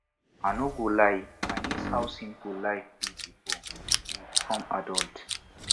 i no go lie i miss how simple life be before we become adult